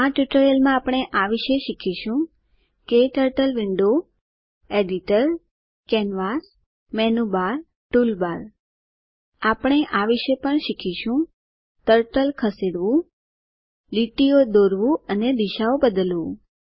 આ ટ્યુટોરીયલ માં આપણે આ વિષે શીખીશું turtle window editor canvas menu bar toolbar આપણે આ વિષે પણ શીખીશું ટર્ટલ ખસેડવું લીટીઓ દોરવું અને દિશાઓ બદલવું